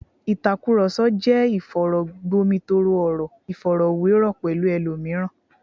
Ìtàkùrọ̀sọ jẹ́ ìfọ̀rọ̀gbomitoro, ìfọ̀rọ̀wérọ̀ pẹ̀lú ẹlòmíràn